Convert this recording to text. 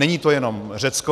Není to jenom Řecko.